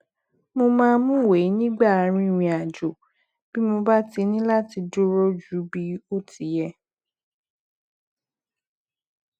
mo máa mú ìwé nígbà rìnrìn àjò bí mo bá ní láti dúró ju bí ó ti yẹ